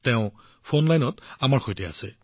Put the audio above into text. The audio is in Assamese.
তেওঁ ফোন লাইনত আমাৰ সৈতে আছে